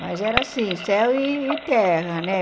Mas era assim, céu e terra, né?